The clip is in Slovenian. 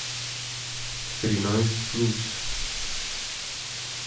Trinajst plus.